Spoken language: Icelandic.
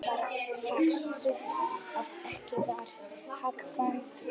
Leiðin var það stutt, að ekki var hagkvæmt að nota vörubíla við flutningana.